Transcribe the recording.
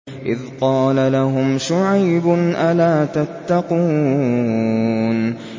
إِذْ قَالَ لَهُمْ شُعَيْبٌ أَلَا تَتَّقُونَ